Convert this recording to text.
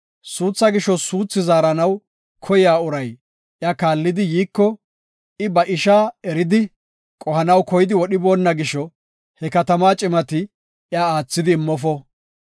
Suuthaa gisho suuthi zaaranaw koya uray iya kaallidi yiiko, I ba ishaa eridi, qohanaw koyidi wodhiboonna gisho he katamaa cimati iya aathidi immofo.